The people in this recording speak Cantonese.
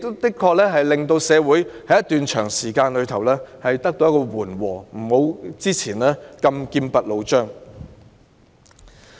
這確實令社會氣氛在一段長時間得到緩和，不如以往般劍拔弩張。